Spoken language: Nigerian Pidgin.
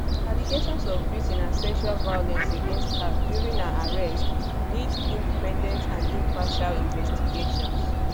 allegations of beating and sexual violence against her during her arrest nid independent and impartial investigations